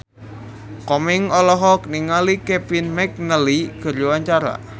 Komeng olohok ningali Kevin McNally keur diwawancara